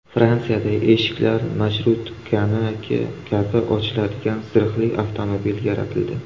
Fransiyada eshiklari marshrutkaniki kabi ochiladigan zirhli avtomobil yaratildi.